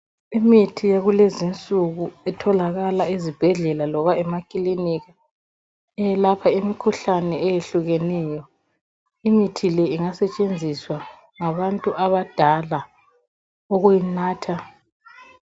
Imithi yakulezinsuku itholakala ezibhedlela loba emakiliniki, eyelapha imikhuhlane eyehlukeneyo. Imithi le ingasetshenziswa ngabantu abadala ukuyinatha.